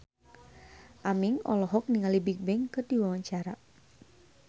Aming olohok ningali Bigbang keur diwawancara